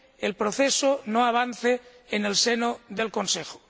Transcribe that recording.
el proceso no avanza en el seno del Consejo.